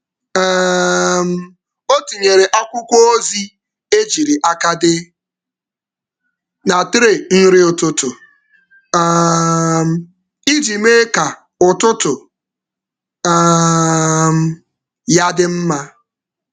um Ọ tinyere akwụkwọ ozi ejiri aka dee na tray nri ụtụtụ um iji mee ka ụtụtụ um ya dị mma.